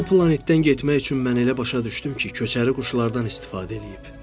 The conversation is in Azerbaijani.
Oba planetdən getmək üçün mən elə başa düşdüm ki, köçəri quşlardan istifadə eləyib.